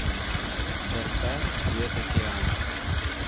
поставь цвет океана